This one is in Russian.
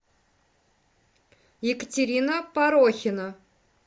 екатерина порохина